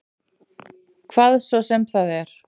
Hvað svo sem það er.